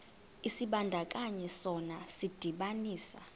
isibandakanyi sona sidibanisa